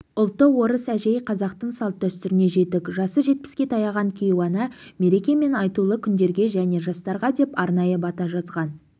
ұлты орыс әжей қазақтың салт-дәстүріне жетік жасы жетпіске таяған кейуана мереке мен айтулы күндерге және жастарға деп арнайы бата жазған